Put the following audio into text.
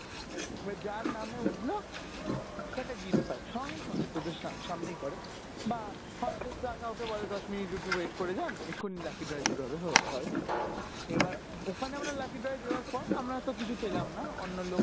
এবার যার নামে উঠল সে একটা gift পায় সঙ্গে সঙ্গে তোদের সাম~ সামনেই করে বা হয়তো কাউকে বলে দশ minute একটু wait করে যান এখনি lucky draw শুরু হবে হ~ হয় এবার ওখানে আমরা lucky draw এ দেয়ার পর আমরা তো কিছু পেলাম না অন্য লোক